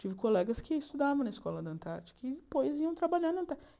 Tive colegas que estudavam na escola da Antártica e depois iam trabalhar na